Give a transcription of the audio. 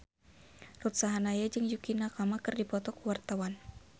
Ruth Sahanaya jeung Yukie Nakama keur dipoto ku wartawan